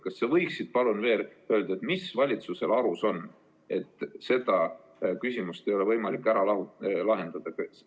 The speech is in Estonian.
Kas sa võiksid palun öelda, mis valitsusel arus on, et seda küsimust ei ole võimalik ära lahendada?